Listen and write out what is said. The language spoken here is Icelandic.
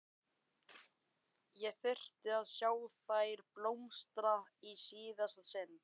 Ég þyrfti að sjá þær blómstra í síðasta sinn.